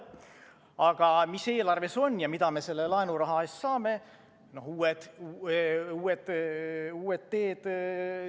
Aga mis eelarves on ja mida me selle laenuraha eest saame?